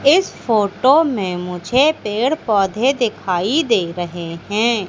इस फोटो में मुझे पेड़ पौधे दिखाई दे रहे हैं।